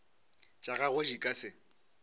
tša gagwe di ka se